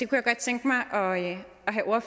kunne godt tænke mig